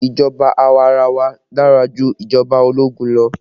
Ìjọba awarawa dára ju ìjọba ológun lọ